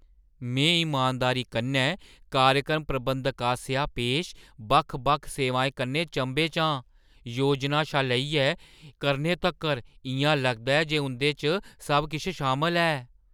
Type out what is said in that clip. मैं इमानदारी कन्नै कार्यक्रम प्रबंधक आसेआ पेश बक्ख-बक्ख सेवाएं कन्नै चंभे च आं, योजना शा लेइयै करने तक्कर, इʼयां लगदा ऐ जे उंʼदे च सब किश शामल ऐ!